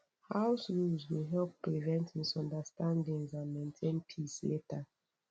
house rules go help prevent misunderstandings and maintain peace later